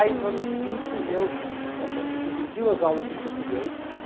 Aí no ano seguinte eu a gente dividiu as aulas de português